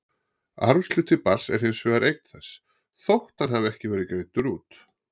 Arfshluti barns er hins vegar eign þess, þótt hann hafi ekki verið greiddur út.